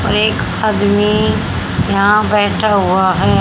एक आदमी यहां बैठा हुआ है।